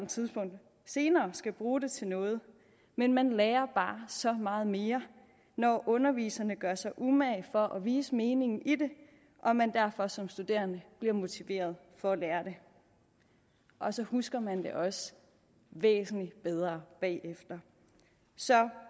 tidspunkt senere skal bruge det til noget men man lærer bare så meget mere når underviserne gør sig umage for at vise meningen i det og man derfor som studerende bliver motiveret for at lære det og så husker man det også væsentlig bedre bagefter så